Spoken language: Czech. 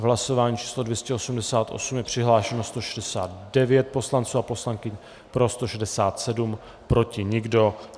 V hlasování číslo 288 je přihlášeno 169 poslanců a poslankyň, pro 167, proti nikdo.